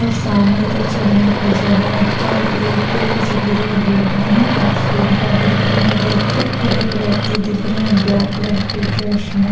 सामने इधर चलने की जगह है रोड पे कुछ गिरे हुए भी है और सीढियाँ दिख रही है रोड पे और एक व्यक्ति दिख रहा है ब्लैक कलर के ड्रेस में---